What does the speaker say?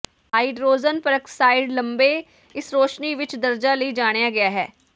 hydrogen peroxide ਲੰਬੇ ਇਸ ਰੌਸ਼ਨੀ ਵਿਚ ਦਰਜਾ ਲਈ ਜਾਣਿਆ ਗਿਆ ਹੈ